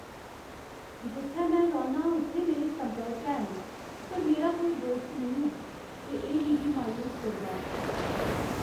जित्थै में रौह्न्नां उत्थै मेरे संपर्क हैन पर मेरा कोई दोस्त नेईं ऐ ते एह् मिगी मायूस करदा ऐ।